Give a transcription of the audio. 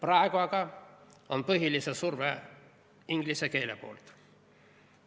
Nüüd aga on põhiline inglise keele surve.